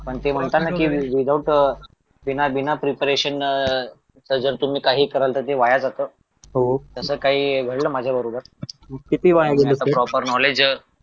पण ते म्हणता ना कि विदाऊट बिना बिना प्रिपरेशन अह जर तुम्ही काही कराल तर ते वाया जात तसं काही घडलं माझ्याबरोबर मी आता प्रॉपर नॉलेज